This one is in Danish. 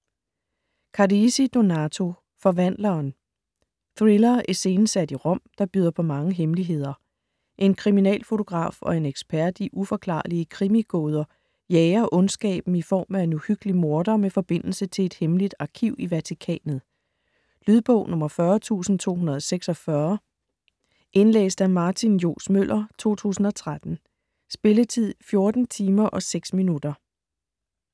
Carrisi, Donato: Forvandleren Thriller iscenesat i Rom, der byder på mange hemmeligheder. En kriminalfotograf og en ekspert i uforklarlige krimigåder jager ondskaben i form af en uhyggelig morder med forbindelse til et hemmeligt arkiv i Vatikanet. Lydbog 40246 Indlæst af Martin Johs. Møller, 2013. Spilletid: 14 timer, 6 minutter.